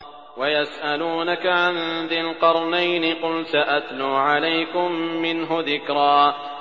وَيَسْأَلُونَكَ عَن ذِي الْقَرْنَيْنِ ۖ قُلْ سَأَتْلُو عَلَيْكُم مِّنْهُ ذِكْرًا